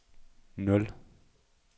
nul